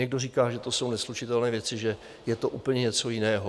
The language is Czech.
Někdo říká, že to jsou neslučitelné věci, že je to úplně něco jiného.